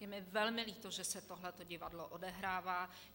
Je mi velmi líto, že se tohleto divadlo odehrává.